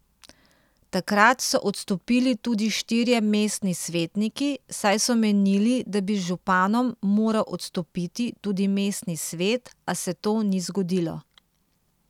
Takrat so odstopili tudi štirje mestni svetniki, saj so menili, da bi z županom moral odstopiti tudi mestni svet, a se to ni zgodilo.